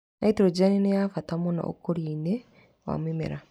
Nitrogeni nĩ ya bata mũno ũkũria-inĩ wa mĩmera.